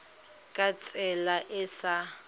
ka tsela e e sa